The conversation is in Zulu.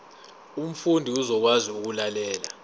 umfundi uzokwazi ukulalela